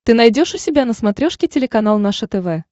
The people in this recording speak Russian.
ты найдешь у себя на смотрешке телеканал наше тв